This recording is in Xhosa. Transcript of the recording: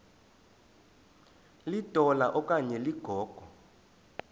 litola okanye ligogo